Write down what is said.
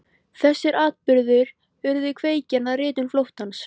Þessir atburðir urðu kveikjan að ritun Flóttans.